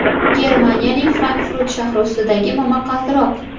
Germaniyaning Frankfurt shahri ustidagi momaqaldiroq.